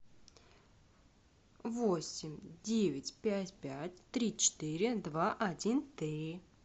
восемь девять пять пять три четыре два один три